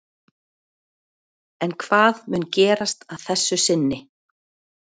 En hvað mun gerast að þessu sinni?